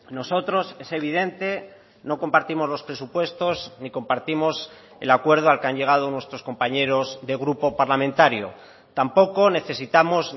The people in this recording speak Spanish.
nosotros es evidente no compartimos los presupuestos ni compartimos el acuerdo al que han llegado nuestros compañeros de grupo parlamentario tampoco necesitamos